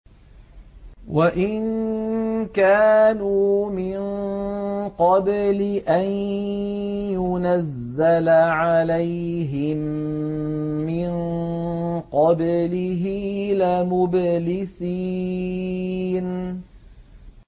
وَإِن كَانُوا مِن قَبْلِ أَن يُنَزَّلَ عَلَيْهِم مِّن قَبْلِهِ لَمُبْلِسِينَ